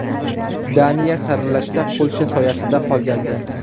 Daniya saralashda Polsha soyasida qolgandi.